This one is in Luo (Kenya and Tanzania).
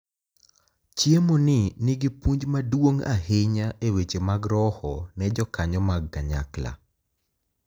Chiemo ni nigi puonj maduong’ ahinya e weche mag roho ne jokanyo mag kanyakla,